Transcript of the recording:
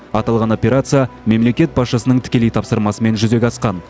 аталған операция мемлекет басшысының тікелей тапсырмасымен жүзеге асқан